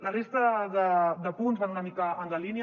la resta de punts van una mica en la línia